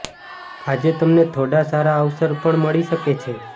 આજે તમને થોડાં સારા અવસર પણ મળી શકે છે